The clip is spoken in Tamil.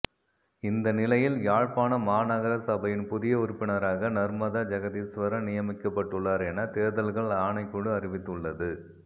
இந்த நிலையில் யாழ்ப்பாண மாநகர சபையின் புதிய உறுப்பினராக நர்மதா ஜெகதீஸ்வரன் நியமிக்கப்பட்டுள்ளார் என தேர்தல்கள் ஆணைக்குழு அறிவித்துள்ளது